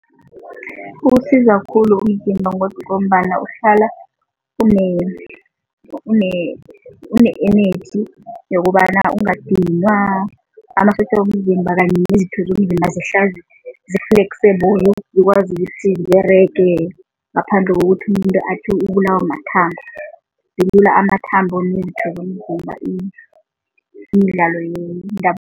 Kusiza khulu umzimba ngombana uhlala une-energy yokobana ungadinwa, amasotja womzimba kanye nezitho zomzimba zihlale zi-flexible, zikwazi ukuthi ziberege ngaphandle kokuthi umuntu athi ubulawa mathambo. Ilula amathambo nezitho zomzimba imidlalo